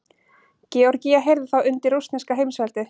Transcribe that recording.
Georgía heyrði þá undir rússneska heimsveldið.